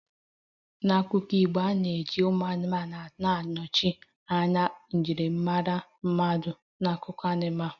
N'akụkọ Igbo, a na-eji ụmụ anụmanụ anọchite anya njirimara mmadụ n'akụkọ anụmanụ